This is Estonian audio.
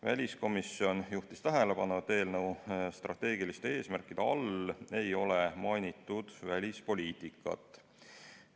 Väliskomisjon juhtis tähelepanu sellele, et eelnõu strateegiliste eesmärkide hulgas ei ole mainitud välispoliitikat.